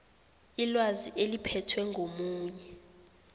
ilwazi eliphethwe ngomunye